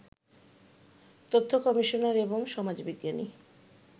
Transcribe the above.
তথ্য কমিশনার এবং সমাজবিজ্ঞানী